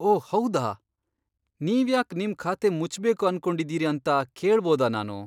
ಓಹ್ ಹೌದಾ! ನೀವ್ಯಾಕ್ ನಿಮ್ ಖಾತೆ ಮುಚ್ಬೇಕು ಅನ್ಕೊಂಡಿದೀರಿ ಅಂತ ಕೇಳ್ಬೋದಾ ನಾನು?